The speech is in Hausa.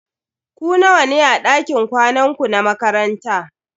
Ku nawa ne a dakin kwanan ku na makaranta?